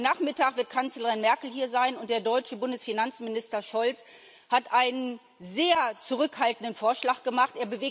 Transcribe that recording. Heute Nachmittag wird Kanzlerin Merkel hier sein, und der deutsche Bundesfinanzminister Scholz hat einen sehr zurückhaltenden Vorschlag gemacht.